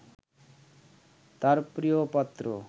তাঁর প্রিয়পাত্র